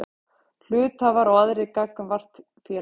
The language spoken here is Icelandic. Hluthafar og aðrir gagnvart félaginu.